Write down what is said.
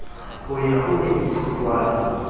ho ya ho e ithutwang